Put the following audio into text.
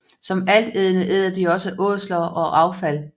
Som altædende æder de også ådsler og affald